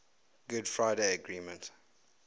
good friday agreement